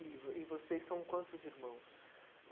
E vo e vocês são quantos irmãos?